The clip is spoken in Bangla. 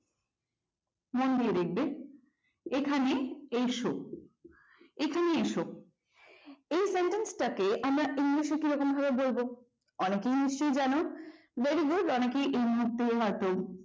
মন দিয়ে দেখবে এখানে এইসো এখানে এসো এই sentence টাকে আমরা english কিরকম ভাবে বলবো অনেকেই নিশ্চয়ই জানো very good অনেকেই এই মধ্যে জানো